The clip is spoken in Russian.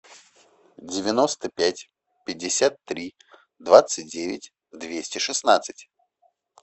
девяносто пять пятьдесят три двадцать девять двести шестнадцать